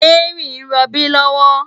Mary n ròbí lòwò